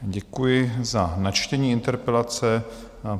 Děkuji za načtení interpelace.